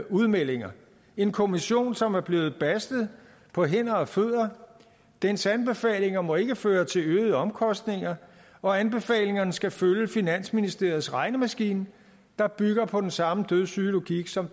udmeldinger en kommission som er blevet bastet på hænder og fødder dens anbefalinger må ikke føre til øgede omkostninger og anbefalingerne skal følge finansministeriets regnemaskine der bygger på den samme dødssyge logik som